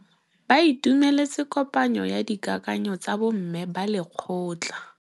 Ba itumeletse kôpanyo ya dikakanyô tsa bo mme ba lekgotla.